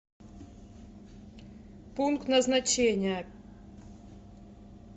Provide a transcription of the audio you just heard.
пункт назначения